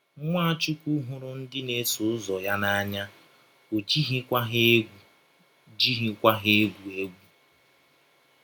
Nwachụkwụ hụrụ ndị na - eso ụzọ ya n’anya, ọ jighịkwa ha egwụ jighịkwa ha egwụ egwụ.